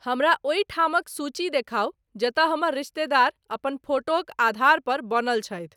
हमरा ओहि ठामक सूची देखाउ जतय हमर रिश्तेदार अपन फोटोक आधार पर बनल छथि